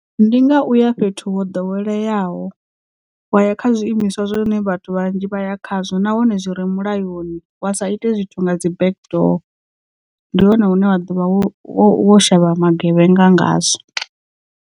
Ndi nga uya fhethu ho ḓoweleaho wa ya kha zwiimiswa zwine vhathu vhanzhi vhaya khazwo nahone zwi re mulayoni wa sa ite zwithu nga dzi back door ndi hone hune wa ḓo vha wo shavha magevhenga nga ngazwo.